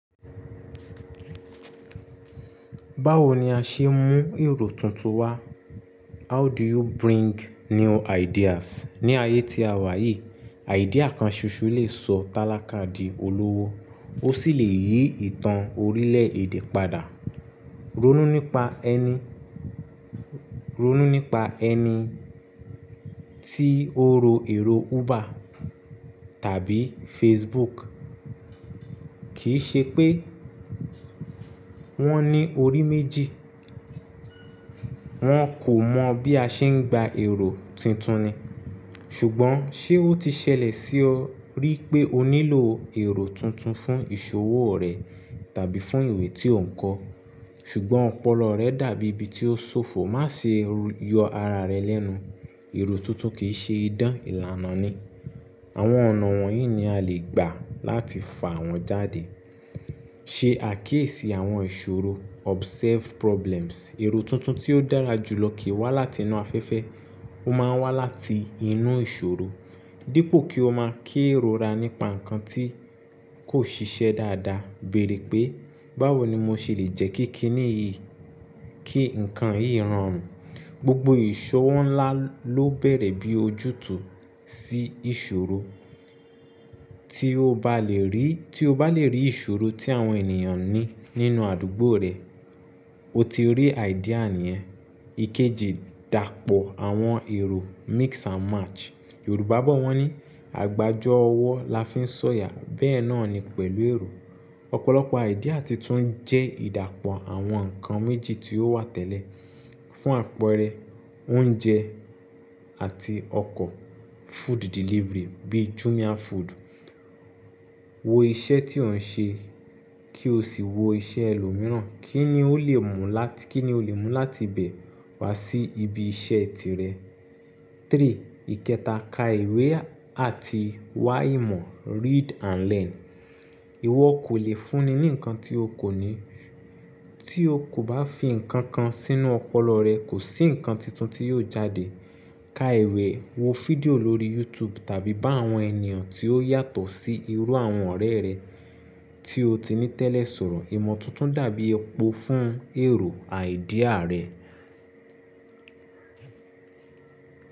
Báwo ni a ṣe ń mú èrò tuntun wá? How do you bring new ideas? Ni ayé tí a wà yìí, idea kan ṣoṣo lè sọ tálákà di olówó, ó sì lè yí ìtàn orílẹ̀ èdè padà. Ronú nípa ẹni, ronú nípa ẹni tí ó ro èrò Uber tàbí Facebook. Kì í ṣe pé wọ́n ní orí méjì. Wọn kò mọ̀ bí a ṣe ń gba èrò tuntun ni. Ṣùgbọ́n ṣe ó ti ṣẹlẹ̀ sí ọ rí pé o nílò èrò tuntun fún ìṣòwò rẹ tàbí fún ìwé tí o ń kọ́. Ṣùgbọ́n ọpọlọ rẹ dàbí ibi tí ó ṣòfò. Má ṣe yọ ara rẹ lẹ́nu. Èrò tuntun kì í ṣe idán ìlànà ni. Àwọn ọ̀nà wọ̀nyí ni a lè gbà láti fà wọ́n jáde. Ṣe àkíyèsí àwọn ìṣòro observe problems. Èrò tuntun tí ó dára jùlọ kì í wá láti inú afẹ́fẹ́, ó máa ń wá láti inú ìṣòro. Dípò kí o máa kí èrò ra nípa nǹkan tí kò ṣiṣẹ́ dáadáa, béèrè pé, báwo ni mo ṣe lè jẹ́ kí kí nìyí, kí nǹkan yìí rọrùn. Gbogbo ìṣòwò ńlá ló bẹ̀rẹ̀ bí ojútùú sí ìṣòro. Tí o bá lè rí, tí o bá lè rí ìṣòro tí àwọn ènìyàn ní nínú àdúgbò rẹ̀, o ti rí idea nìyẹn. Ikeji, dàpọ̀ àwọn èrò mix and match. Yorùbá bọ̀ wọ́n ní, "àgbájọ ọwọ́ la fi ń ṣọ̀yà", bẹ́ẹ̀ náà ni pẹ̀lú èrò. Ọ̀pọ̀lọpọ̀ idea tuntun jẹ́ ìdàpọ̀ àwọn nǹkan méjì tí ó wà tẹ́lẹ̀. Fún àpẹẹrẹ, oúnjẹ àti ọkọ̀ food delivery bí Jumia Food. Wo iṣẹ́ tí òun ṣe kí o sì wo iṣẹ́ ẹlòmíràn. Kí ni o lè mú láti, kí ni o lè mú láti bẹ̀ wá sí ibi iṣẹ́ tirẹ̀? Ìkẹta, ka ìwé àti wá ìmọ̀ read and learn. Ìwọ kò lè fúnni ní nǹkan tí o kò ní. Tí o kò bá fi nǹkan kan sínú ọpọlọ rẹ, kò sí nǹkan tuntun tí yóò jáde. Ka ìwé, wo fídíò lórí YouTube tàbí bá àwọn ènìyàn tí ó yàtọ̀ sí irú àwọn ọ̀rẹ́ rẹ tí o ti ní tẹ́lẹ̀ sọ̀rọ̀. Ìmọ̀ tuntun dàbí epo fún èrò idea rẹ.